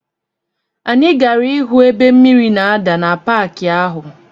Anyị gara ịhụ ebe mmiri na-ada na paki ahụ.